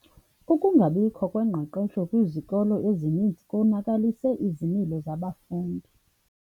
Ukungabikho kwengqeqesho kwizikolo ezininzi konakalise izimilo zabafundi.